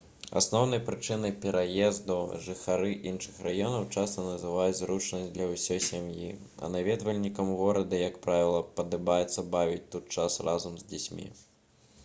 асноўнай прычынай пераезду жыхары іншых раёнаў часта называюць зручнасць для ўсёй сям'і а наведвальнікам горада як правіла падабаецца бавіць тут час разам з дзецьмі